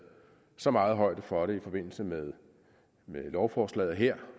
så meget højde for det i forbindelse med lovforslaget her